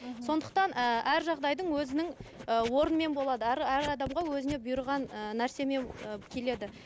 мхм сондықтан ыыы әр жағдайдың өзінің ы орнымен болады әр әр адамға өзіне бұйырған ыыы нәрсемен ы келеді